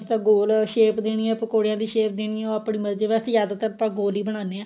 ਗੋਲ shape ਦੇਣੀ ਏ ਪਕੋੜਿਆ ਦੀ shape ਦੇਣੀ ਏ ਉਹ ਆਪਣੀ ਮਰਜੀ ਏ ਵੈਸੇ ਜਿਆਦਾਤਰ ਆਪਾਂ ਗੋਲ ਹੀ ਬਣਾਉਂਦੇ ਆਂ